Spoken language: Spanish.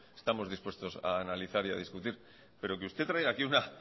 estamos dispuestos a analizar y a discutir pero que usted traiga aquí una